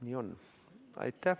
Nii on.